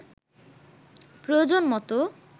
প্রয়োজনমতো